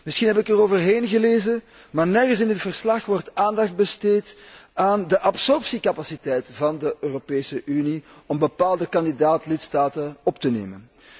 Misschien heb ik eroverheen gelezen, maar nergens in dit verslag wordt aandacht besteed aan de absorptiecapaciteit van de Europese Unie om bepaalde kandidaat lidstaten op te nemen.